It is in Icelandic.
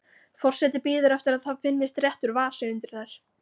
Forseti bíður eftir að það finnist réttur vasi undir þær.